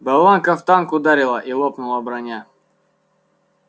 болванка в танк ударила и лопнула броня